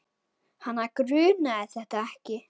Hana grunaði þetta ekki.